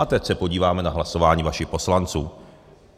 A teď se podíváme na hlasování vašich poslanců.